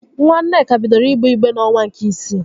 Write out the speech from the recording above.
Nwa Nneka bidoro igbe igbe n'onwa nke isii